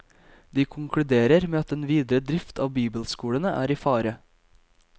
De konkluderer med at den videre drift av bibelskolene er i fare.